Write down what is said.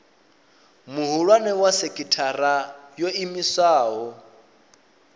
muhulwane wa sekithara yo iimisaho